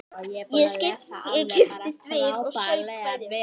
Ég kipptist við og saup hveljur.